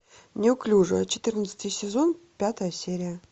неуклюжая четырнадцатый сезон пятая серия